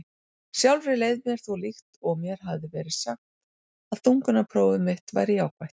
Sjálfri leið mér þó líkt og mér hefði verið sagt að þungunarpróf mitt væri jákvætt.